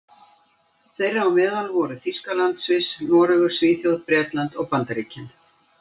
Þeirra á meðal voru Þýskaland, Sviss, Noregur, Svíþjóð, Bretland og Bandaríkin.